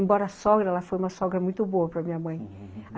Embora a sogra, ela foi uma sogra muito boa para minha mãe.